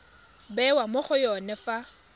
bewa mo go yone fa